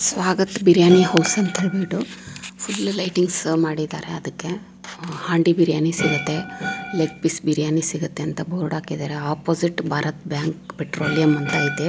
Swagath biryani house ಅಂತ ಹೇಳ್ಬಿಟ್ಟು full lightings ಮಾಡಿದ್ದಾರೆ ಅದುಕೆ ಹಾಂಡಿ ಬಿರಿಯಾನಿ ಸಿಗುತ್ತೆ ಲೆಗ್ ಪೀಸ್ ಬಿರಿಯಾನಿ ಸಿಗುತ್ತೆ ಅಂತ ಬೋರ್ಡ್ ಹಾಕಿದ್ದಾರೆ ಆಪೋಸಿಟ್ ಭಾರತ ಬ್ಯಾಂಕ್ ಪೆಟ್ರೋಲಿಯಂ ಅಂತ ಅಯ್ತೆ.